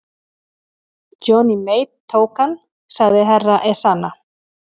Johnny Mate tók hann, sagði herra Ezana.